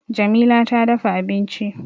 Jamila ta dafa abinci